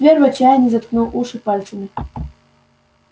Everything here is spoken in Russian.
твер в отчаянии заткнул уши пальцами